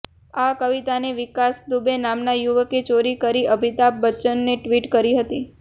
આ કવિતાને વિકાસ દુબે નામના યુવકે ચોરી કરી અમિતાભ બચ્ચનને ટ્વિટ કરી હતી